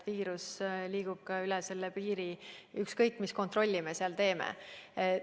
Viirus liigub ka üle selle piiri, ükskõik, mis kontrolli me seal ka ei tee.